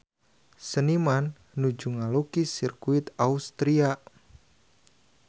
Seniman nuju ngalukis Sirkuit Austria